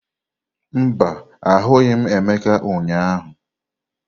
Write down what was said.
Mba, ahụghị m Emeka ụnyahụ.